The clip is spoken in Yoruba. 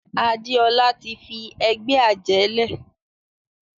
Adéọlá tí fí ègbé ajé lẹ.